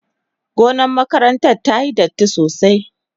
Gonar makarantar tayi datti sosai.